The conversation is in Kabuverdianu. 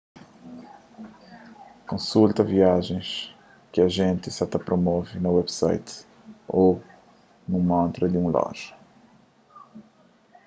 konsulta viajens ki ajenti sa ta promove na website ô nun montra di un loja